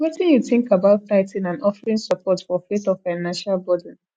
wetin you think about tithing and offerings support for faith or financial burden